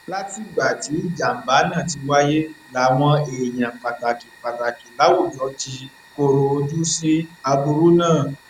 látìgbà tí ìjàmbá náà ti wáyé làwọn èèyàn pàtàkì pàtàkì láwùjọ ti kọrọ ojú sí aburú náà